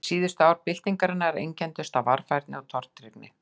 Síðustu ár byltingarinnar einkenndust af varfærni og tortryggni.